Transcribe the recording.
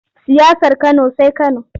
Siyasar Kano sai Kano.